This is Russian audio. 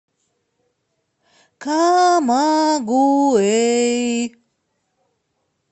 камагуэй